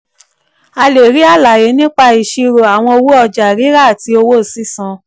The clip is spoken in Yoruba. a lè rí àlàyé nípa ìṣirò àwọn owó ọjà rírà àti owó sísan.